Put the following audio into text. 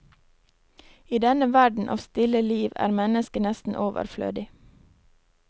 I denne verden av stille liv er mennesket nesten overflødig.